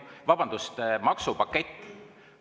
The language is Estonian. Vabandust!